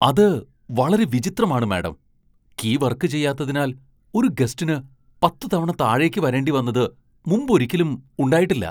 അത് വളരെ വിചിത്രമാണ്, മാഡം. കീ വർക്ക് ചെയ്യാത്തതിനാൽ ഒരു ഗസ്റ്റിന് പത്ത് തവണ താഴേക്ക് വരേണ്ടി വന്നത് മുമ്പൊരിക്കലും ഉണ്ടായിട്ടില്ല.